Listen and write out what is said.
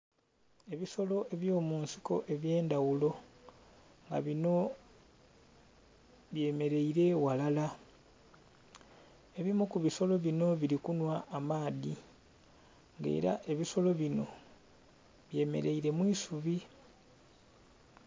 Ebisolo eby'omunsiko eby'endaghulo nga binho byemeleile ghalala. Ebimu ku bisolo binho bili kunhwa amaadhi. Nga ela ebisolo binho byemeleile mu isubi.